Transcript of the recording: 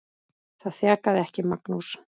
Það þjakaði ekki Magnús.